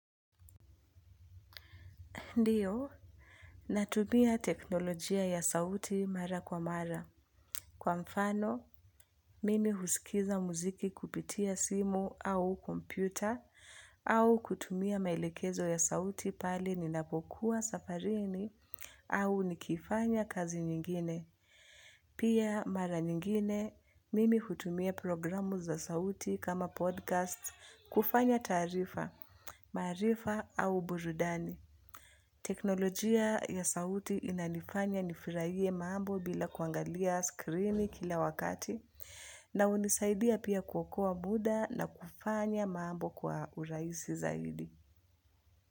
Ndiyo, natumia teknolojia ya sauti mara kwa mara. Kwa mfano, mimi husikiza muziki kupitia simu au kompyuta au kutumia maelekezo ya sauti pale ninapokuwa safarini au nikifanya kazi nyingine. Pia mara nyingine, mimi hutumia programu za sauti kama podcast kufanya taarifa, maarifa au burudani. Teknolojia ya sauti inanifanya nifurahie mambo bila kuangalia skrini kila wakati. Na hunisaidia pia kuokoa muda na kufanya mambo kwa urahisi zaidi.